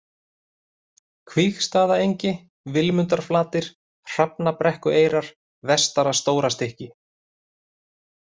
Kvígsstaðaengi, Vilmundarflatir, Hrafnabrekkueyrar, Vestara-Stórastykki